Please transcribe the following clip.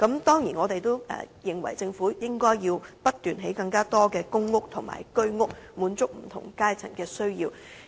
當然，我們認為政府應不斷興建更多公屋和居者有其屋計劃單位，以滿足不同階層的需要。